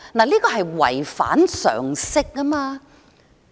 這是違反常識的。